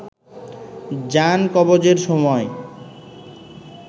জান কবজের সময়